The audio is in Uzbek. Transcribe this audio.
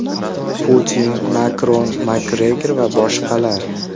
Putin, Makron, Makgregor va boshqalar.